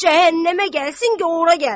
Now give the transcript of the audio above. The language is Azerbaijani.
Cəhənnəmə gəlsin, göh ora gəlsin.